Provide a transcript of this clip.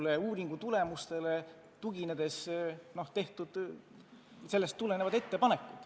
Tehtud ettepanekud tuginevad uuringutulemustele.